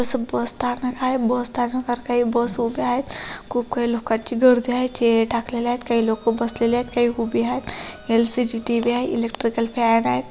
जस बस स्थानक आहे बस स्थानकात काही बस उभे आहेत खूप काही लोकांची गर्दी आहे चेअर टाकलेले आहेत काही लोक बसलेले आहेत काही उभी आहेत. एल_सी_डी टी_व्ही आहे एलेक्ट्रिकल फॅन आहे.